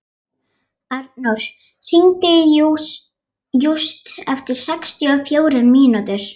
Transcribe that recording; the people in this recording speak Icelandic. Arnór, hringdu í Júst eftir sextíu og fjórar mínútur.